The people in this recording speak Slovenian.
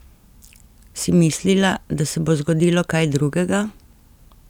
Si mislila, da se bo zgodilo kaj drugega?